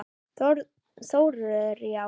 Þórður: Já?